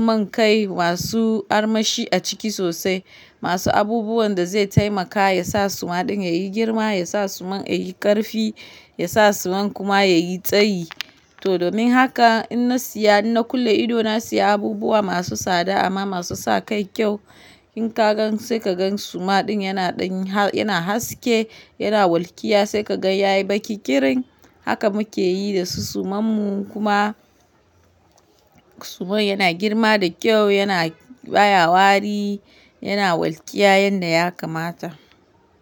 man kai masu armashi a ciki sosai, masu abubuwan da zai taimaka yasa suma ɗin yayi girma, yasa suman yayi ƙarfi, yasa suman kuma yayi tsayi. To domin haka ina siya, ina kulle idona siya abubuwa masu tsada amma masu sa kai kyau. In ka gan sai ka gan suma ɗin yana haske, yana walƙiya sai ka gan yayi baki kirin. Haka muke yi da su suman mu kuma suman yana girma da kyau, yana baya wari, yana walƙiya yanda ya kamata.